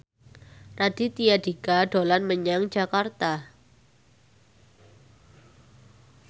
Raditya Dika dolan menyang Jakarta